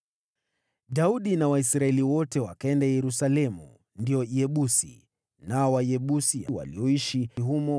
Daudi na Waisraeli wote wakaenda Yerusalemu (ndio Yebusi). Nao Wayebusi walioishi humo